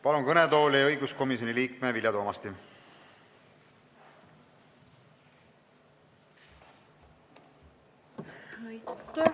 Palun kõnetooli õiguskomisjoni liikme Vilja Toomasti!